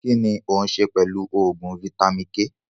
Kínní òun ṣe pẹlu oògùn vitamin-k